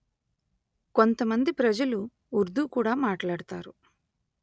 కొంతమంది ప్రజలు ఉర్దూ కూడా మాట్లాడుతారు